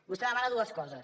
vostè demana dues coses